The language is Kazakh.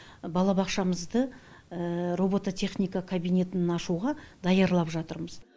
балабақшамызды робототехника кабинетін ашуға даярлап жатырмыз